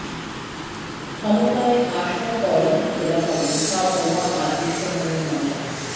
ক্ষমতায় আসার পরেই খোলা হবে সব বোমা আর বিস্ফোরণের মামলা